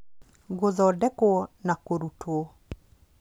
Gũthondekwo na kũrutwo